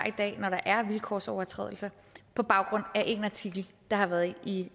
i dag når der er vilkårsovertrædelser på baggrund af én artikel der har været i